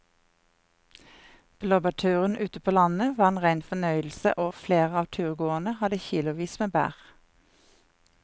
Blåbærturen ute på landet var en rein fornøyelse og flere av turgåerene hadde kilosvis med bær.